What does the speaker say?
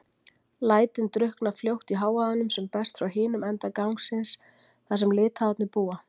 lætin drukkna fljótt í hávaðanum sem berst frá hinum enda gangsins, þar sem Litháarnir búa.